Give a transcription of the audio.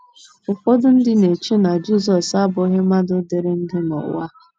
Ụfọdụ ndị na - eche na Jizọs abụghị mmadụ dịrị ndụ n’ụwa a.